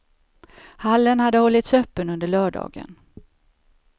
Hallen hade hållits öppen under lördagen.